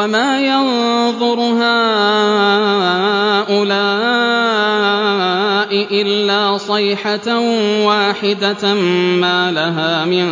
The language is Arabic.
وَمَا يَنظُرُ هَٰؤُلَاءِ إِلَّا صَيْحَةً وَاحِدَةً مَّا لَهَا مِن